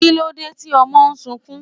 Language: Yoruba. Kílódé tí ọmọ sunkún?